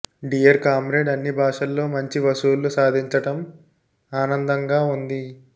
dear comrade అన్ని భాషల్లో మంచి వసూళ్లు సాధించటం ఆనందంగా ఉంది